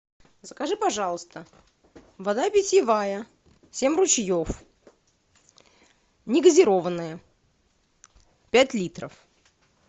закажи пожалуйста вода питьевая семь ручьев негазированная пять литров